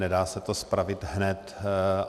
Nedá se to spravit hned.